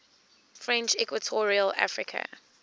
french equatorial africa